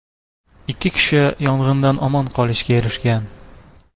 Ikki kishi yong‘indan omon qolishga erishgan.